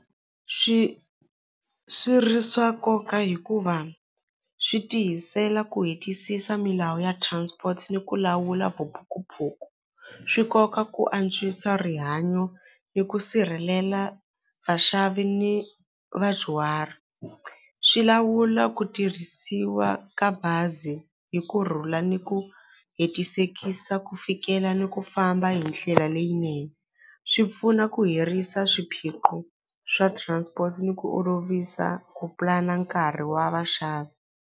Swi swi ri swa nkoka hikuva swi tiyisela ku hetisisa milawu ya transport ni ku lawula vuphukuphuku swi koka ku antswisa rihanyo ni ku sirhelela vaxavi ni vadyuhari swi lawula ku tirhisiwa ka bazi hi kurhula ni ku hetisekisa ku fikela ni ku famba hi ndlela leyinene swi pfuna ku hirisa swiphiqo swa transport ni ku olovisa ku pulana nkarhi wa vaxavi.